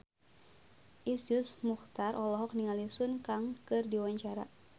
Iszur Muchtar olohok ningali Sun Kang keur diwawancara